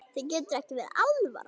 Þér getur ekki verið alvara.